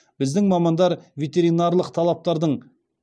біздің мамандар ветеринарлық талаптардың